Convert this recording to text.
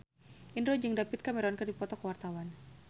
Indro jeung David Cameron keur dipoto ku wartawan